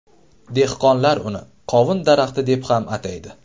Dehqonlar uni qovun daraxti deb ham ataydi.